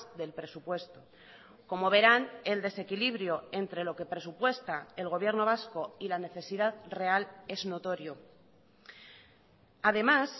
del presupuesto como verán el desequilibrio entre lo que presupuesta el gobierno vasco y la necesidad real es notorio además